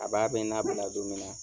A b'a bɛ n nabila don min na.